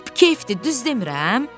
Lap kefdir, düz demirəm?